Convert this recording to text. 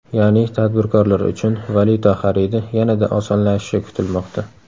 Ya’ni tadbirkorlar uchun valyuta xaridi yanada osonlashishi kutilmoqda.